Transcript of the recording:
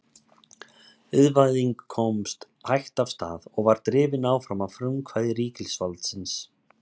Iðnvæðing komst hægt af stað og var drifin áfram af frumkvæði ríkisvaldsins.